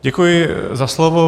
Děkuji za slovo.